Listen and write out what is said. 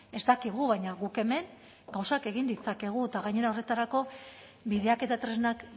ez dakigu baina guk hemen gauzak egin ditzakegu eta gainera horretarako bideak eta tresnak